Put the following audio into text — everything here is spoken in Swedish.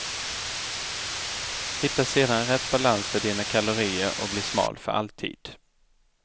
Hitta sedan rätt balans på dina kalorier och bli smal för alltid.